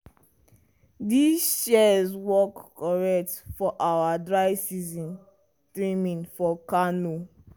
i arrange my shears hand glove and trowel well for the school garden project.